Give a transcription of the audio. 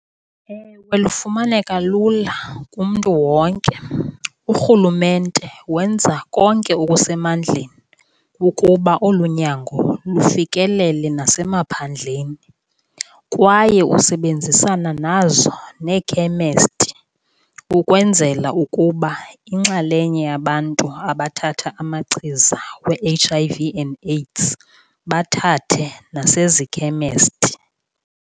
Ewe, lifumaneka lula kumntu wonke. Urhulumente wenza konke okusemandleni ukuba olu nyango lufikelele nasemaphandleni kwaye usebenzisana nazo neekhemesti ukwenzela ukuba inxalenye yabantu abathatha amachiza we-H_I_V and AIDS bathathe nasezikhemesti.